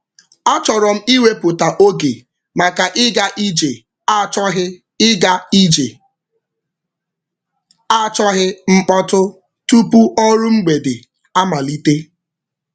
A chọrọ m ịwepụta oge maka ịga ije achọghị ịga ije achọghị mkpọtụ tupu ọrụ mgbede amalite.